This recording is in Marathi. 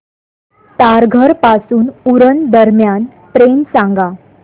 तारघर पासून उरण दरम्यान ट्रेन सांगा